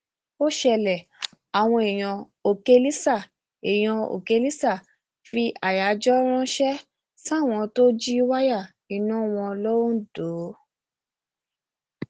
ó ṣẹlẹ àwọn èèyàn òkèlísà èèyàn òkèlísà fi àyájọ ránṣẹ sáwọn tó ń jí wáyà iná wọn londo